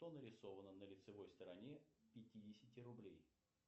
что нарисовано на лицевой стороне пятидесяти рублей